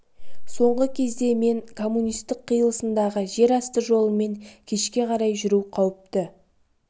соңғы кезде мен коммунистік қиылысындағы жер асты жолымен кешке қарай жүру қауіпті